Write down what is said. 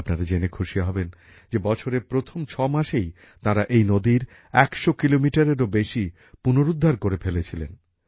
আপনারা জেনে খুশি হবেন যে বছরের প্রথম ছ মাসেই তাঁরা এই নদীর একশো কিলোমিটারএরও বেশি পুনরুদ্ধার করে ফেলেছিলেন